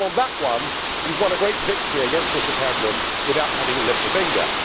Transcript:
So on that one you have won a great victory against Mr Cameron without having to lift a finger.